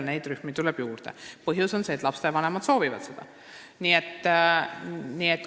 Selliseid rühmi tuleb juurde ja põhjus on see, et lapsevanemad soovivad seda.